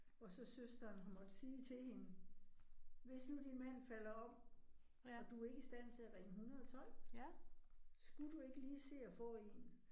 Og så søsteren hun måtte sige til hende. Hvis nu din mand falder om, og du ikke i stand til at ringe 112, skulle du ikke lige se at få 1?